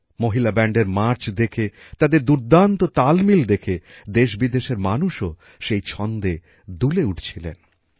মহিলা ব্যান্ডের মার্চ দেখে তাদের দুর্দান্ত তাল মিল দেখে দেশবিদেশের মানুষও সেই ছন্দে দুলে উঠছিলেন